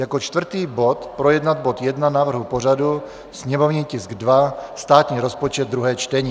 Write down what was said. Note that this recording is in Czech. Jako čtvrtý bod projednat bod 1 návrhu pořadu, sněmovní tisk 2 - státní rozpočet, 2. čtení.